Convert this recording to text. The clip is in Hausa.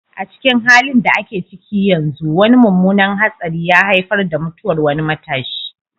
A cikin halin da ake ciki yanzu, wani mummunan hatsari ya haifar da mutuwar wani matashi,